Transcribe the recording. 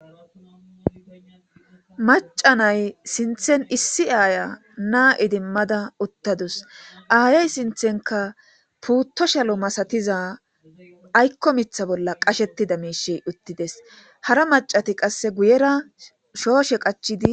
Maca nay sinthen issi aaya naa7idimmada uttadus aayey sinthenka puuttoshalo masatiza aykko mitha bolla qashettida miishi uttides hara macati qasse guyera shooshe qachidi.